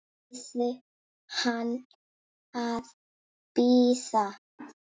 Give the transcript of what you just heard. Biður hann að bíða.